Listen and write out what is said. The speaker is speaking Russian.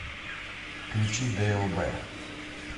включи длб